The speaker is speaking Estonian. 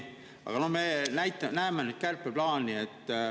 Aga me näeme nüüd neid kärpeplaane.